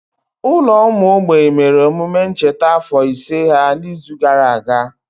Ụlọ ụmụ mgbei mere omume ncheta afọ ise ha n'izu gara aga.